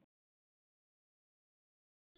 Helga við hlið hans.